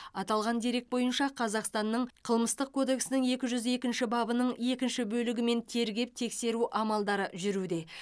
аталған дерек бойынша қазақстанның қылмыстық кодексінің екі жүз екінші бабының екінші бөлігімен тергеп тексеру амалдары жүргізілуде